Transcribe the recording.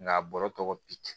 Nka a bɔra tɔgɔ bi